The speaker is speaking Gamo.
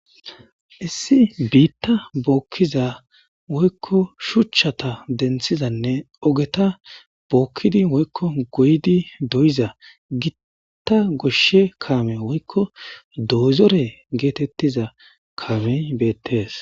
issi biitta bookkiza woykko shuchchata denthizanne ogeta bookkidi woykko goydi doyiza gitta goshshe kaame woykko doozore geetettiza kaamey beettees